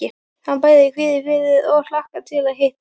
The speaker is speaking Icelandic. Hann bæði kvíðir fyrir og hlakkar til að hitta